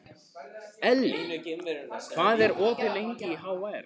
Elli, hvað er opið lengi í HR?